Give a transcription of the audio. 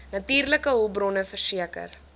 natuurlike hulpbronne verseker